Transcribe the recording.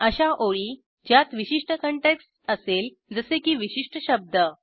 अशा ओळी ज्यात विशिष्ट काँटेक्स्ट असेल जसे की विशिष्ट शब्द